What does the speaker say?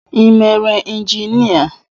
Ị mere injinia?